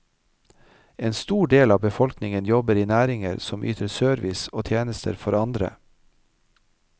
En stor del av befolkningen jobber i næringer som yter service og tjenester for andre.